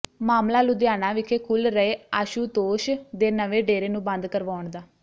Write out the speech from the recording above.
ਮਾਮਲਾ ਲੁਧਿਆਣਾ ਵਿਖੇ ਖੁੱਲ ਰਹੇ ਆਸ਼ੂਤੋਸ਼ ਦੇ ਨਵੇਂ ਡੇਰੇ ਨੂੰ ਬੰਦ ਕਰਵਾਉਣ ਦਾ